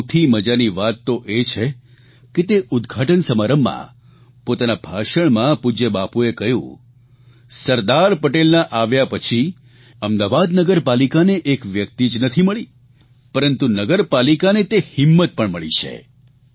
અને સૌથી મજાની વાત તો એ છે કે તે ઉદઘાટન સમારંભમાં પોતાના ભાષણમાં પૂજય બાપુએ કહ્યું સરદાર પટેલના આવ્યા પછી અમદાવાદ નગરપાલિકાને એક વ્યક્તિ જ નથી મળી પરંતુ નગરપાલિકાને તે હિંમત પણ મળી છે